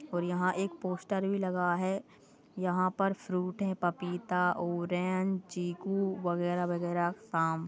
और यहाँ एक पोस्टर भी लगा है यहाँ पर फ्रूट है पपीता ऑरेंज चीकू वग़ैरा वग़ैरा काम--